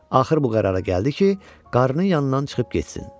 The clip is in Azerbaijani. Axır bu qərara gəldi ki, qarının yanından çıxıb getsin.